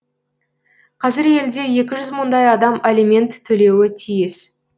қазір елде екі жүз мыңдай адам алимент төлеуі тиіс